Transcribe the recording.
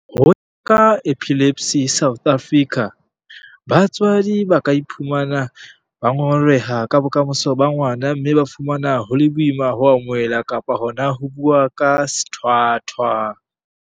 Ho ya ka ba Epilepsy South Africa, batswadi ba ka iphumana ba ngongoreha ka bokamoso ba ngwana mme ba fumana ho le boima ho amohela kapa hona ho bua ka sethwathwa.